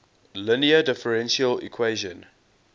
linear differential equation